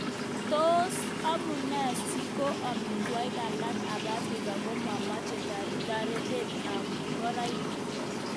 Tos amune siko emotunwek alak ab Afrika komomeche toretet ab ngoroik?